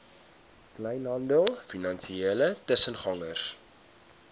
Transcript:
kleinhandel finansiële tussengangers